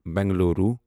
Bengaluru